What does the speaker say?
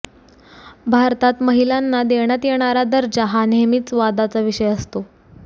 भारतात महिलांना देण्यात येणारा दर्जा हा नेहमीच वादाचा विषय असतो